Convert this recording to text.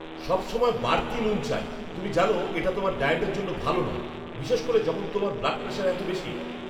সবসময় বাড়তি নুন চাই! তুমি জানো এটা তোমার ডায়েটের জন্য ভালো নয়, বিশেষ করে যখন তোমার ব্লাড প্রেশার এত বেশি।